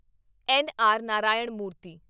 N. R. Narayana ਮੂਰਤੀ